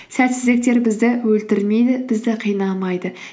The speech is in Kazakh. сәтсіздіктер бізді өлтірмейді бізді қинамайды